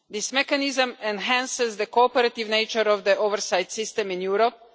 This mechanism enhances the cooperative nature of the oversight system in Europe.